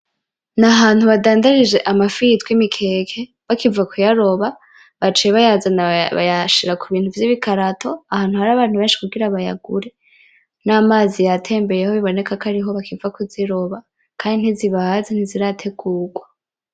Nahantu badandarije amafi yitwa imikeke, bakiva kuyaroba baciye bayazana bayashira kubintu vy' ibikarato ahantu hari abantu benshi kugira bayagure n'amazi yatembeyeho biboneka kwariho bakiva kuziroba kandi ntizibaze ntizirategurwa.